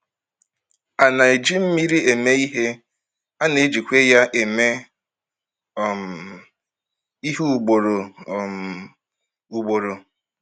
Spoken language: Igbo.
A na-eji mmiri eme ihe, a na-ejikwa ya eme um ihe ugboro um ugboro.